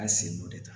A ye sen dɔ de ta